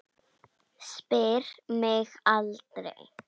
Spyr mig aldrei.